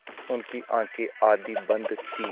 उनकी आँखें आधी बंद थीं